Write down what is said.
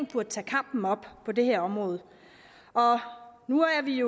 burde tage kampen op på det her område nu er vi